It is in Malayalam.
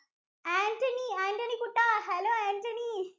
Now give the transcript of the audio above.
ആന്‍റണി, ആന്‍റണി കുട്ടാ, hello ആന്‍റണി